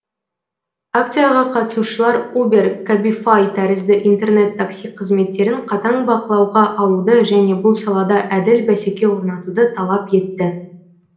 акцияға қатысушылар убер кабифай тәрізді интернет такси қызметтерін қатаң бақылауға алуды және бұл салада әділ бәсеке орнатуды талап етті